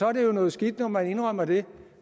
er jo noget skidt når man indrømmer det